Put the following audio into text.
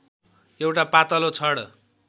एउटा पातलो छड